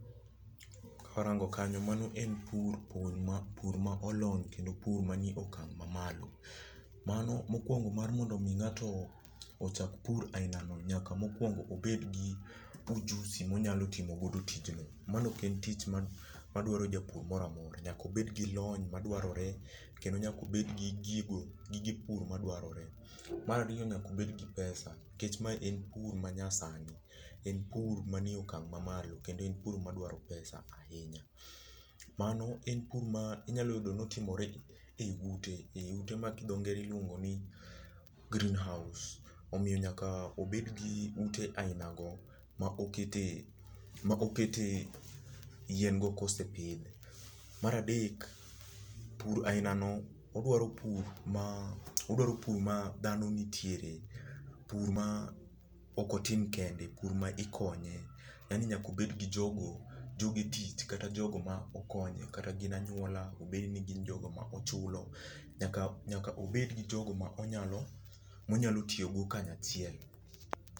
Karango kanyo mano en pur, pur ma , pur ma olony kendo pur manie okang' mamalo. Mano mokuongo mar mondo mi ng'ato ochak pur ainano nyaka mokuongo obed gi ujusi monyalo timo godo tijno. Mano ok en tich ma madwaro japur moro amora, nyaka obed gi lony madwarore, kendo nyakobed gi gigo gige pur madwarore. Mar ariyo nyaka obed gi pesa, nikech ma en pur manyasani, en pur manie okang' mamalo. Kendo en pur madwaro pesa ahinya. Mano en pur ma inyalo yudo ni otimore ei ute, eiute ma dho ngere luongo ni green house. Omiyo nyaka obed gi ute ainago ma okete maokete yien go kosepidh. Mar adek, pur ainano oduaro pur ma oduaro pur ma dhano nitiere. Pur ma ok otim kende. Pur ma ikonye, yaani nyaka obed gi jogo, jogetich, kata jogo makonye kata gin anyuola, obed ni gin jogo ma ochulo, nyaka nyaka obed gi jogo ma onyalo, monyalo tiyogo kanyachiel.